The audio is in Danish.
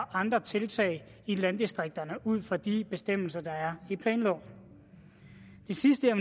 andre tiltag i landdistrikterne ud fra de bestemmelser der er i planloven det sidste jeg